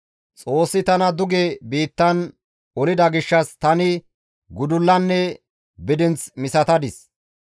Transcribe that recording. Xoossi tana duge biittan olida gishshas tani gudullanne bidinth misatadis.